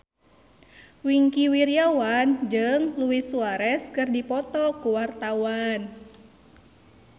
Wingky Wiryawan jeung Luis Suarez keur dipoto ku wartawan